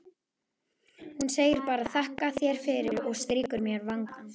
Hún segir bara: þakka þér fyrir, og strýkur mér vangann.